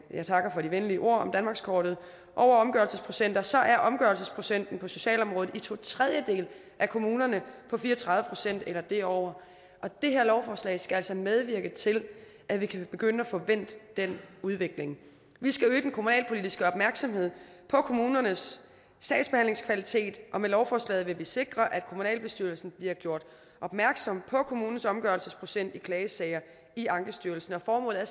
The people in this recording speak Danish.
jeg takker for de venlige ord om danmarkskortet over omgørelsesprocenter så er omgørelsesprocenten på socialområdet i to tredjedele af kommunerne på fire og tredive procent eller derover det her lovforslag skal altså medvirke til at vi kan begynde at få vendt den udvikling vi skal øge den kommunalpolitiske opmærksomhed på kommunernes sagsbehandlingskvalitet og med lovforslaget vil vi sikre at kommunalbestyrelsen bliver gjort opmærksom på kommunens omgørelsesprocent i klagesager i ankestyrelsen formålet er